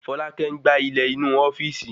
Folákẹ́ n gbà ilẹ̀ inu ofíìsì